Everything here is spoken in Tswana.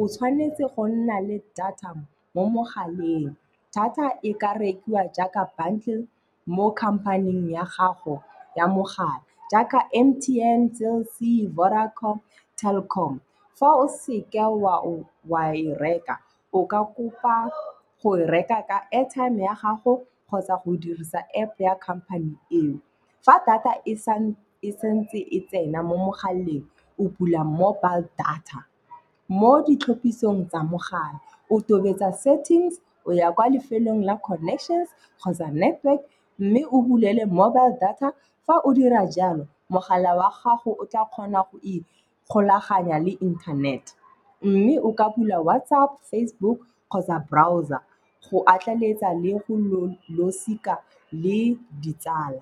o tshwanetse go nna le data mo mogaleng. Data e ka rekiwa jaaka bundle mo company-ing ya gago ya mogala jaaka M_T_N, Cell C, Vodacom, Telkom. Fa o seke wa e reka, o ka kopa go e reka ka airtime ya gago kgotsa go dirisa App ya company eo. Fa data e santse e tsena mo mogaleng o bula mobile data. Mo ditlhopisong tsa mogala, o tobetsa settings o ya kwa lefelong la connections kgotsa network, mme o bulele mobile data. Fa o dira jalo, mogala wa gago o tla kgona go ikgolaganya le internet. Mme o ka bula WatsApp, Facebook kgotsa browser go atlaletsa le go losika le ditsala.